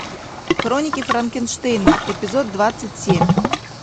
хроники франкенштейна эпизод двадцать семь